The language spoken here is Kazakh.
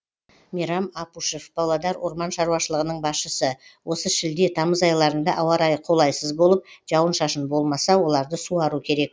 мейрам апушев павлодар орман шаруашылығының басшысы осы шілде тамыз айларында ауа райы қолайсыз болып жауын шашын болмаса оларды суару керек